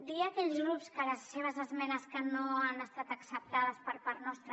dir a aquells grups que les seves esmenes no han estat acceptades per part nostra